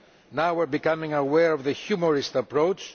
Now we are becoming aware of the humorist approach.